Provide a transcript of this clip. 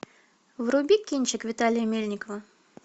вруби кинчик виталия мельникова